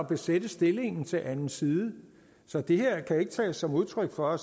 besætte stillingen til anden side så det her kan ikke tages som udtryk for at